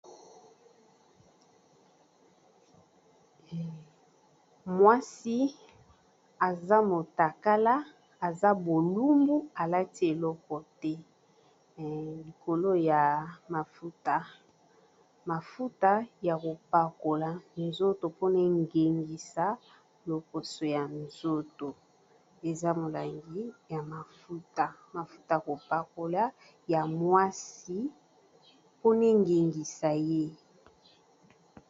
Mwasi aza motakala aza bolumbu alati eloko te likolo ya mafuta, mafuta ya kopakola nzoto mpona engengisa loposo ya nzoto eza molangi ya mafuta. Mafuta ya kopakola ya mwasi mpona engengisa ye.